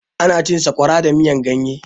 Ana cin sakwara da miyan ganye